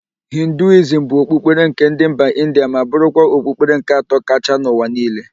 Hinduizm bụ okpukpere nke ndị mba India ma bụrụkwa okpukpere nke atọ kachaa n'ụwa niile.